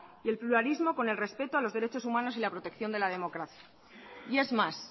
y el pluralismo con el respeto a los derechos humanos y la protección de la democracia y es más